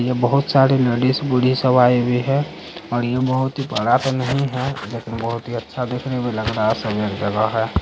यह बहुत सारी लेडीज़ उडीज़ सब आई हुई है और यह बहुत ही बड़ा तो नहीं है लेकिन बहुत ही अच्छा देखने में लग रहा है सब एक जगह है।